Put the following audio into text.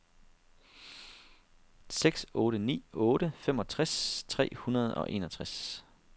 seks otte ni otte femogtres tre hundrede og enogtres